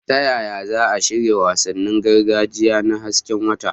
Ta yaya za a shirya wasannin gargajiya na hasken wata?